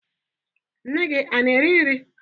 Nne gị ana-eri nri?